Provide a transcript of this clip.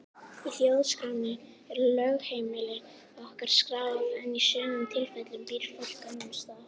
Í þjóðskránni er lögheimili okkar skráð en í sumum tilfellum býr fólk annars staðar.